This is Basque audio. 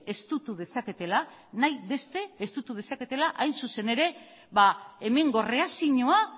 estutu dezaketela hain zuzen ere hemengo erreakzioa